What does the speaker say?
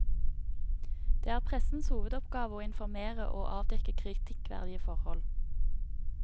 Det er pressens hovedoppgave å informere og avdekke kritikkverdige forhold.